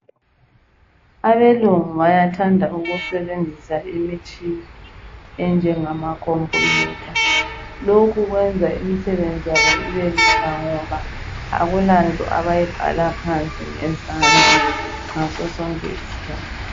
Abelungu bayathanda ukusebenzisa imitshina enjengama khompuyutha lokhu kwenza imisebenzi yabo ibelula akulanto abayibhala phansi ngezandla ngasosonke isikhathi.